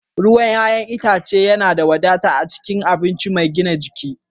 ruwan 'ya'yan itace yana da wadata a cikin abinci mai gina jiki